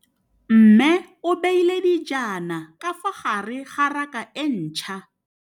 Mmê o beile dijana ka fa gare ga raka e ntšha.